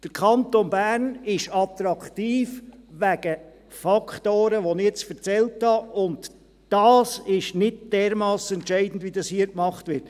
Der Kanton Bern ist attraktiv wegen Faktoren, die ich nun aufgezählt habe, und dieses ist nicht dermassen entscheidend, wie es hier dargestellt wird.